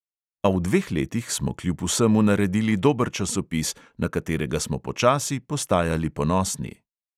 A v dveh letih smo kljub vsemu naredili dober časopis, na katerega smo počasi postajali ponosni.